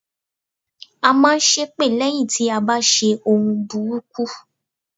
À n máa n ṣépè lẹ́yìn tí a bá ti ṣe ohun burúkú